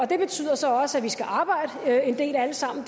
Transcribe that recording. det betyder så også at vi skal arbejde en del alle sammen